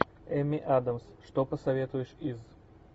эми адамс что посоветуешь из